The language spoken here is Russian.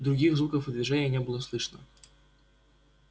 других звуков и движений не было слышно